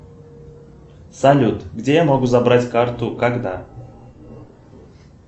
салют где я могу забрать карту когда